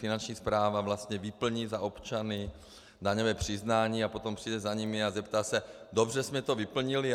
Finanční správa vlastně vyplní za občany daňové přiznání a potom přijde za nimi a zeptá se: dobře jsme to vyplnili?